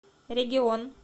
регион